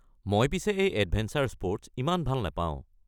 মই পিছে এই এডভেঞ্চাৰ স্পৰ্টছ ইমান ভাল নাপাওঁ।